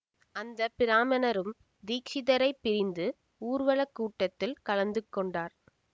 அந்த பிராம்மணரும் தீக்ஷிதரைப் பிரிந்து ஊர்வலக் கூட்டத்தில் கலந்து கொண்டார்